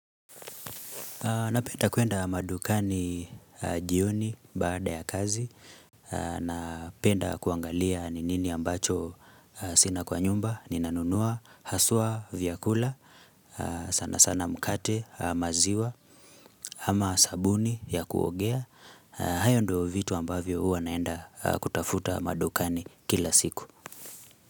Napenda kuenda madukani jioni baada ya kazi Napenda kuangalia ni nini ambacho sina kwa nyumba, ninanunua, haswa vyakula, sana sana mkate, maziwa, ama sabuni ya kuogea hayo ndio vitu ambavyo huwa naenda kutafuta madukani kila siku.